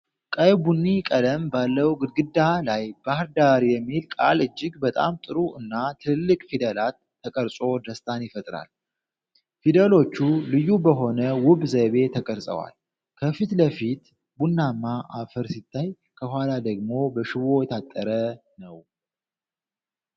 ቀይ ቡኒ ቀለም ባለው ግድግዳ ላይ “BAHIR DAR” የሚለው ቃል እጅግ በጣም ጥሩ እና ትልልቅ ፊደላት ተቀርጾ ደስታን ይፈጥራል። ፊደሎቹ ልዩ በሆነ ውብ ዘይቤ ተቀርጸዋል። ከፊት ለፊት ቡናማ አፈር ሲታይ፣ ከኋላ ደግሞ በሽቦ የታጠረ ነው።